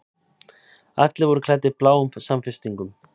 Allir voru klæddir bláum samfestingum.